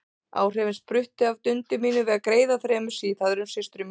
Áhrifin spruttu af dundi mínu við að greiða þremur síðhærðum systrum mínum.